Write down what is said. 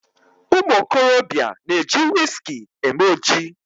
Ụmụokorobịa na-eji wiski eme oji